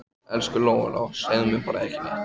Elsku Lóa-Lóa, segðu bara ekki neitt.